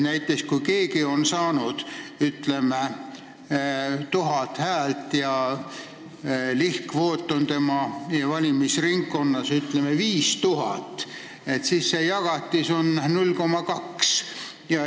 Näiteks, kui keegi on saanud 1000 häält ja lihtkvoot on tema valimisringkonnas, ütleme, 5000, siis see jagatis on 0,2.